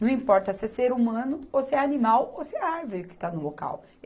Não importa se é ser humano, ou se é animal, ou se é árvore que está no local.